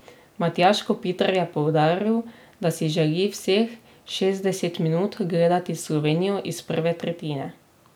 Matjaž Kopitar je poudaril, da si želi vseh šestdeset minut gledati Slovenijo iz prve tretjine.